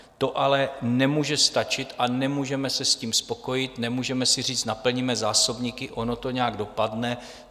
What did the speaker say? To ale nemůže stačit a nemůžeme se s tím spokojit, nemůžeme si říct - naplníme zásobníky, ono to nějak dopadne.